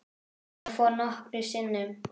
Ég fór nokkrum sinnum.